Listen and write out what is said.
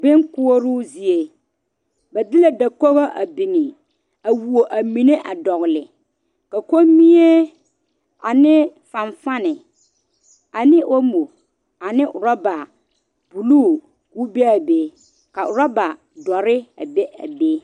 Binkoɔroo zie ba de la dakogi a biŋ a who a mine a dɔgele ka kɔmie ane sanfani ane omo ane orɔba buluu ko o be a be a orɔba dɔre be a be